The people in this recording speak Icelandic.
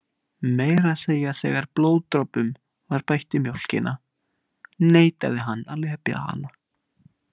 Meira að segja þegar blóðdropum var bætt í mjólkina neitaði hann að lepja hana.